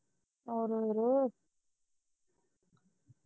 ਆਜੋ ਫਿਰ